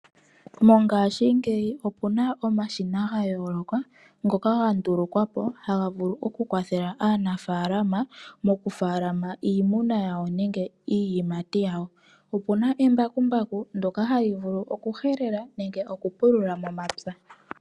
Mongashingeyi opu na omashina ga yooloka ngoka ga ndulukwapo haga vulu oku kwathela aanafaalama mokufaalama iimuna yawo nenge iiyimati yawo. Opuna embakumbaku ndyoka ha li vulu oku pulula nenge oku helela momapya gawo.